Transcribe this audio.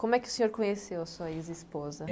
Como é que o senhor conheceu sua ex-esposa?